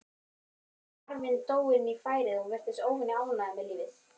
Afinn dró inn færið og virtist óvenju ánægður með lífið.